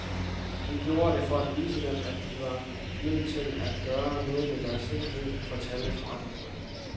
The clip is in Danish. Vi gjorde det for at vise dem, at de er nødt til at gøre noget ved deres sikkerhed, fortalte forretningsmanden.